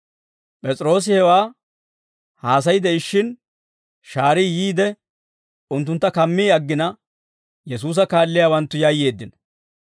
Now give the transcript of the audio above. P'es'iroosi hewaa haasay de'ishshin, shaarii yiide unttuntta kammi aggina Yesuusa kaalliyaawanttu yayyeeddino.